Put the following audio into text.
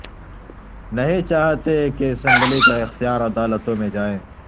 نہیں چاہتے کہ اسمبلی کا اختیار عدالتوں میں جائے